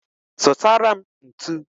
Zutara m ntu